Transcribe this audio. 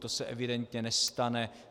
To se evidentně nestane.